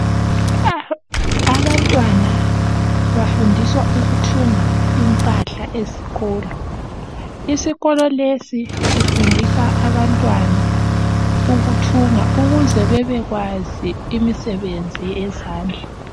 Abantwana bafundiswa ukuthunga impahla ezikolo. Isikolo lesi sifundisa abantwana ukuthunga ukuze bebekwazi imisebenzi yezandla.